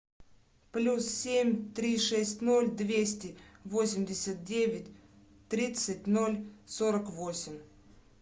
плюс семь три шесть ноль двести восемьдесят девять тридцать ноль сорок восемь